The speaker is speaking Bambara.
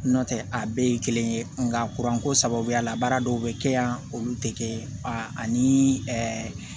Nɔntɛ a bɛɛ ye kelen ye nka kuranko sababuya la baara dɔw be kɛ yan olu te kɛ a ani ɛɛ